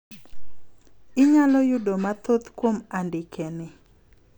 Inyalo yudo mathoth kuom andike ni.